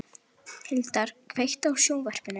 Hildar, kveiktu á sjónvarpinu.